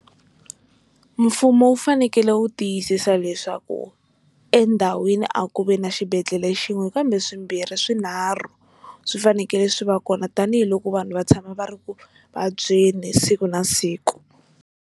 Mfumo wu fanekele wu tiyisisa leswaku endhawini a ku ve na xibedhlele xin'we kambe swimbirhi swinharhu swi fanekele swi va kona tanihiloko vanhu va tshama va ri ku vabyeni siku na siku.